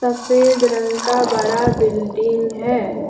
सफेद रंग का बड़ा बिल्डिंग है।